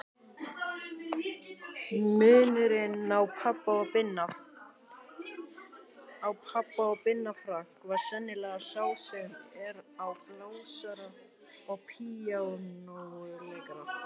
Munurinn á pabba og Binna Frank var sennilega sá sem er á blásara og píanóleikara.